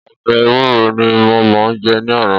Ọbẹ̀ ẹwúro ní mo jẹ ní àná.